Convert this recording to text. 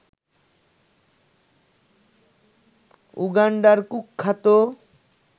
উগান্ডার কুখ্যাত